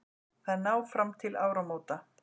Þær ná fram til áramóta